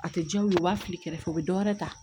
A tɛ diya u ye u b'a fili kɛrɛfɛ u bɛ dɔ wɛrɛ ta